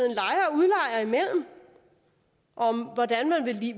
er imellem om hvordan man